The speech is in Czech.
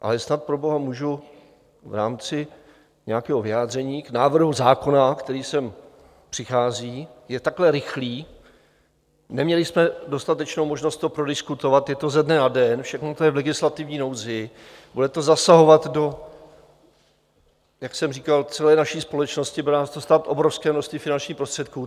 Ale snad proboha můžu v rámci nějakého vyjádření k návrhu zákona, který sem přichází, je takhle rychlý, neměli jsme dostatečnou možnost to prodiskutovat, je to ze dne na den, všechno to je v legislativní nouzi, bude to zasahovat do, jak jsem říkal, celé naší společnosti, bude nás to stát obrovské množství finančních prostředků.